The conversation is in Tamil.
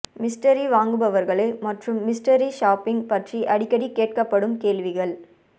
மிஸ்டரி வாங்குபவர்கள் மற்றும் மிஸ்டரி ஷாப்பிங் பற்றி அடிக்கடி கேட்கப்படும் கேள்விகள்